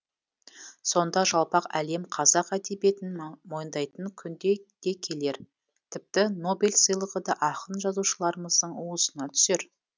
сонда жалпақ әлем қазақ әдебиетін мойындайтын күн де келер тіпті нобель сыйлығы да ақын жазушыларымыздың уысына түсер